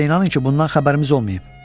Bizə inanın ki, bundan xəbərimiz olmayıb.